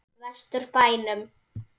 Vestur bænum.